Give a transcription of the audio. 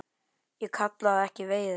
Ég kalla það ekki veiði.